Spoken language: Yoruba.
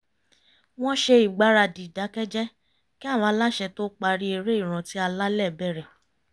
wọ́n ṣe ìgbaradì ìdákẹ́jẹ́ kí àwọn aláṣẹ tó parí eré ìrántí alálẹ̀ bẹ̀rẹ̀